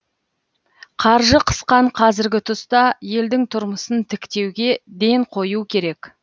қаржы қысқан қазіргі тұста елдің тұрмысын тіктеуге ден қою керек